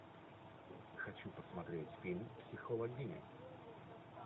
хочу посмотреть фильм психологиня